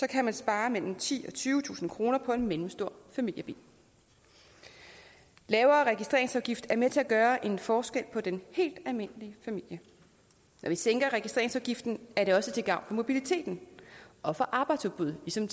kan man spare mellem titusind og tyvetusind kroner på en mellemstor familiebil lavere registreringsafgift er med til at gøre en forskel for den helt almindelige familie når vi sænker registreringsafgiften er det også til gavn for mobiliteten og for arbejdsudbuddet som